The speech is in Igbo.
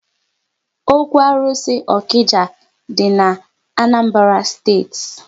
Ókwú arụsị Okija dị n'Anambra steeti